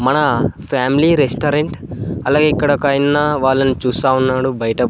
మన family restaurant అలాగే ఇక్కడ ఒక ఆయన్న వాళ్ళని చూస్తా ఉన్నాడు బయట.